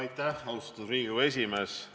Aitäh, austatud Riigikogu esimees!